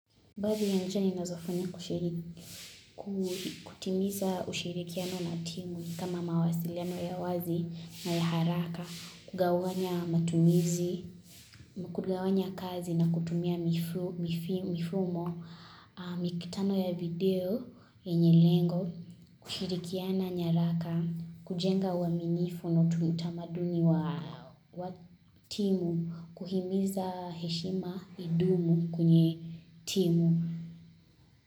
Baadhi ya njia ninazofanya kushiriki kutimiza ushirikiano na timu kama mawasiliano ya wazi na ya haraka, kugawanya matumizi, kugawanya kazi na kutumia mifumo, mikutano ya video, yenye lengo, kushirikiana nyaraka, kujenga wa uaminifu na utamaduni wa timu, kuhimiza heshima idumu kwenye timu.